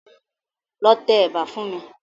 Lọ tẹ ẹ̀bà fún mi.